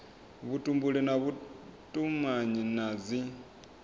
vhutumbuli na vhutumanyi na dzi